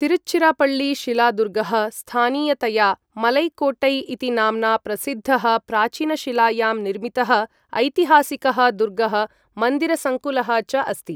तिरुच्चिरपळ्ळी शिलादुर्गः, स्थानीयतया मलैकोट्टै इति नाम्ना प्रसिद्धः, प्राचीनशिलायां निर्मितः ऐतिहासिकः दुर्गः, मन्दिरसङ्कुलः च अस्ति।